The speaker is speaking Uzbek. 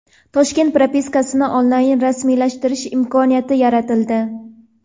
Toshkent propiskasini onlayn rasmiylashtirish imkoniyati yaratildi.